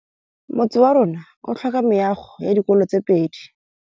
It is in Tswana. Motse warona o tlhoka meago ya dikolô tse pedi.